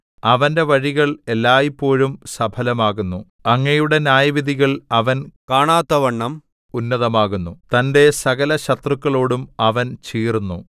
അവന്റെ വഴികൾ എല്ലായ്പോഴും സഫലമാകുന്നു അങ്ങയുടെ ന്യായവിധികൾ അവൻ കാണാത്തവണ്ണം ഉന്നതമാകുന്നു തന്റെ സകലശത്രുക്കളോടും അവൻ ചീറുന്നു